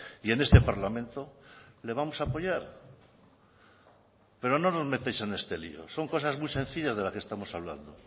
y en este parlamento le vamos a apoyar pero no nos metáis en este lío son cosas muy sencillas de las que estamos hablando